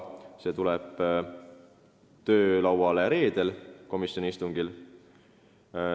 See kava tuleb komisjoni töölauale reedesel istungil.